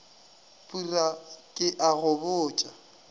phura ke a go botša